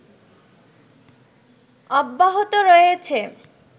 অব্যাহত রয়েছে